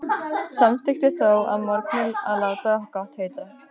Samþykkti þó að morgni að láta gott heita.